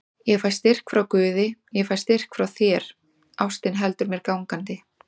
Ég fæ styrk frá guði, ég fæ styrk frá þér, ástin heldur mér gangandi.